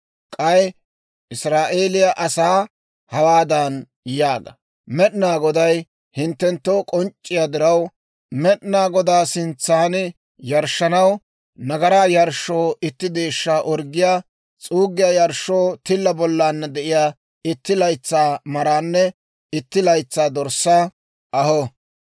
K'ay Israa'eeliyaa asaa hawaadan yaaga; ‹Med'inaa Goday hinttenttoo k'onc'c'iyaa diraw, Med'inaa Godaa sintsan yarshshanaw, nagaraa yarshshoo itti deeshshaa orggiyaa, s'uuggiyaa yarshshoo tilla bollaanna de'iyaa itti laytsaa maraanne itti laytsaa dorssaa aho.